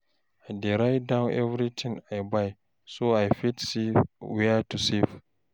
I dey write down everything I buy so I fit see where to save.